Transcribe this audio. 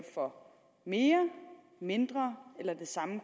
for mere mindre eller samme